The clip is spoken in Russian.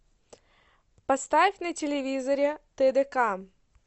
поставь на телевизоре тдк